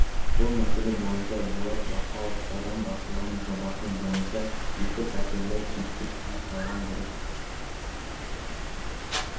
бұл мәселе бойынша болат бақауов аудан басшылығының жобасы бойынша екі пәтерлі типтік үй салған дұрыс